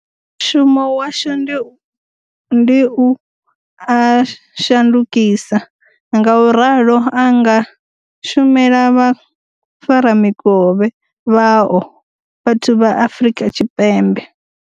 Mushumo washu ndi u a shandukisa, ngauralo a nga shumela vhafaramikovhe vhao vhathu vha Afrika Tshipembe.